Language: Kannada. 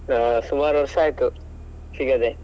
ಹಾ ಸುಮಾರು ವರ್ಷ ಆಯ್ತು, ಸಿಗದೇ.